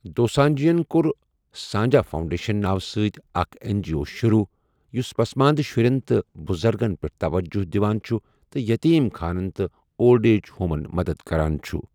دوسانجھَن کوٚر سانجھ فاؤنڈیشن ناوٕ سۭتۍ اکھ این جی او شروٗع، یُس پسماندٕ شرُٮ۪ن تہٕ بُزرٕگَن پٮ۪ٹھ توجہ دِوان چُھ تہٕ یٔتیٖم خانَن تہٕ اولڈ ایج ہومَن مدد کران چُھ۔